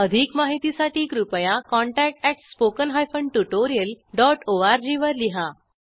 अधिक माहितीसाठी कृपया contactspoken tutorialorg वर लिहा